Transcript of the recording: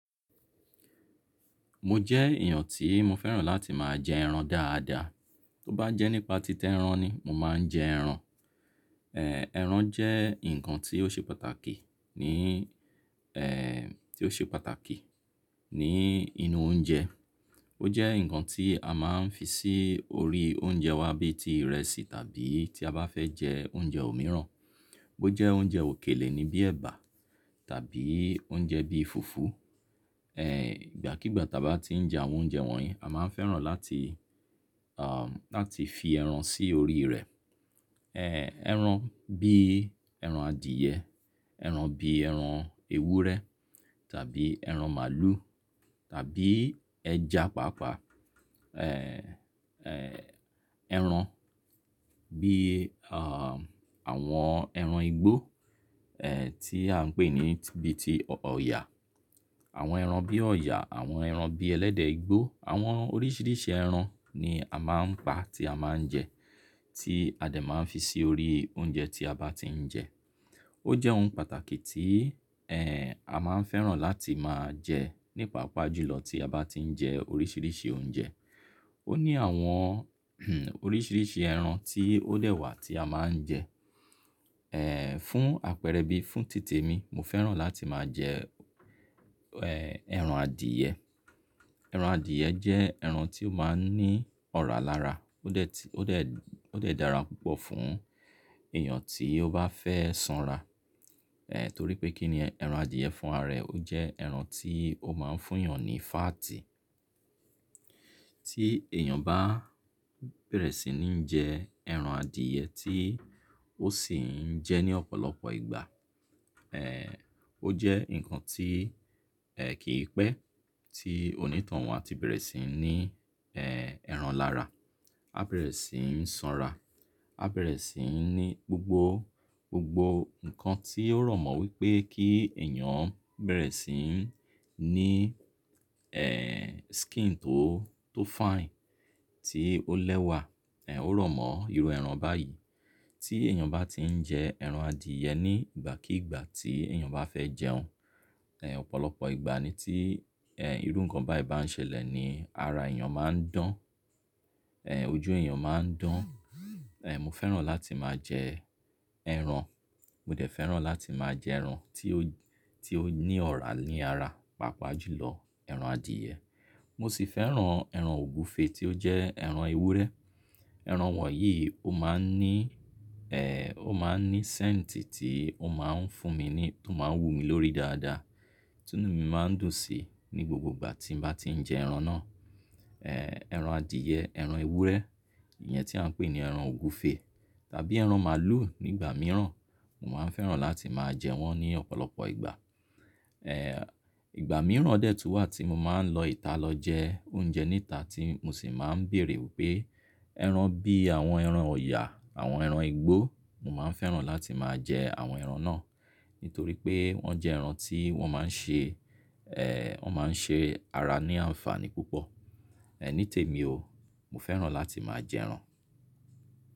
Mo jẹ́ èèyàn tí mo fẹ́ràn láti máa jẹ ẹran dáadáa. Tó bá jẹ́ nípa tít'eran ni, mo máa ń jẹ ẹran. Ẹran jẹ́ nǹkan tí ó ṣe pàtàkì ní tí ó ṣe pàtàkì ní inú oúnjẹ. Ó jẹ́ nǹkan tí a máa ń fi sí orí oúnjẹ wa bí i tí ìrẹsì tàbí tí a bá fẹ́ jẹ oúnjẹ òmíràn. Bó jẹ́ oúnjẹ òkèlè ni bíi ẹ̀bà tàbí oúnjẹ bíi fùfú, ìgbàkígbà ti a bá ti ń jẹ àwọn oúnjẹ wọ̀nyí, a máa ń fẹ́ràn láti láti fi ẹran sí orí rẹ̀. Ẹran bí ẹran adìẹ, ẹran bí ẹran ewúrẹ́ tàbí ẹran màlúù tàbí ẹja pàápàá. Ẹran bí àwọn ẹran igbó tí à ń pè ní bí i tí ọ̀yà. Àwọn ẹran bí ọ̀ọ̀yà, àwọn ẹran bí ẹlẹ́dẹ̀ igbó, àwọn oríṣiríṣi ẹran ni a máa ń pa tí a máa ń jẹ, tí a dè máa ń fi sí orí oúnjẹ tí a bá ti ń jẹ. Ó jẹ́ ohun pàtàkì tí a máa ń fẹ́ràn láti máa jẹ ní paapà jùlọ tí a bá ti ń jẹ oríṣiríṣi oúnjẹ. Ó ní àwọn oríṣiríṣi ẹran tí ó dẹ̀ wà tí a máa ń jẹ. Fún àpẹẹrẹ bí, fún títè mi, mo fẹ́ràn láti máa jẹ ẹran adìẹ. Ẹran adìẹ jẹ́ ẹran tí ó máa ń ní ọ̀rá lára. Ó dẹ̀ ti, ó dẹ̀, ó dẹ̀ dára púpọ̀ fún èèyàn tí ó bá fẹ́ sanra. Nítorí pé kí ni ẹran adìẹ fún ara rẹ̀? Ó jẹ́ ẹran tí ó máa ń fún èèyàn ní fáàtì. Tí èèyàn bá bẹ̀rẹ̀ sí ní jẹ ẹran adìẹ tí ó sì ń jẹ ní ọ̀pọ̀lọpọ̀ ìgbà, ó jẹ́ nǹkan tí kìi pẹ́ tí onítohun á ti bẹ̀rẹ̀ sí ní ẹran lára. A bẹ̀rẹ̀ sí ń sanra. A bẹ̀rẹ̀ sí ń ní gbogbo, gbogbo nǹkan tí ó rọ̀mọ́ wípé kí èèyàn bẹ̀rẹ̀ sí ń ní skin tó, tó fine, tí ó lẹ́wà, ó rọ̀mọ́ irú ẹran báyìí. Tí èèyàn bá ti ń jẹ ẹran adìẹ ní ìgbàkígbà tí èèyàn bá fẹ́ jẹun, ọ̀pọ̀lọpọ̀ ìgbà ni tí irú nǹkan báyìí bá ń ṣẹlẹ̀ ni ara èèyàn máa ń dán. Ojú èèyàn máa ń dán. Mo fẹ́ràn láti máa jẹ ẹran. Mo dẹ̀ fẹ́ràn láti máa jẹ ẹran tí ó, tí ó ní ọ̀rá ní ara pàápàá jù lọ ẹran adìẹ. Mo sì fẹ́ran ẹran ògúfe tí ó jẹ́ ẹran ewúrẹ́. Ẹran wọ̀nyí ó máa ń ní ó máa ń ní scent tí ó máa ń fún mi ní, tó máa ń wù mí lórí dáadáa, tí inú mi máa ń dùn sí ní gbogbo ìgbà tí n ba ti ń jẹ ẹran náà. Ẹran adìẹ, ẹran ewúrẹ́, ìyẹn tí à ń pè ní ẹran ògúfe tàbí ẹran màlúù nígbà mìíràn, mo máa ń fẹ́ràn láti máa jẹ wọ́n ní ọ̀pọ̀lọpọ̀ ìgbà. Ìgbà mìíràn dẹ̀ tún wà tí mo máa ń lọ ìta lọ jẹ oúnjẹ ní ìta tí mo sì máa ń bèèrè wípé ẹran bí àwọn ẹran ọ̀yà, àwọn ẹran igbó, mo máa ń fẹ́ràn láti máa jẹ àwọn ẹran náà nítorí pé wọ́n jẹ́ ẹran tí wọ́n máa ń ṣe wọ́n máa ń ṣe ara ní àǹfààní púpọ̀. Nítèmi o, mo fẹ́ràn láti máa jẹ ẹran.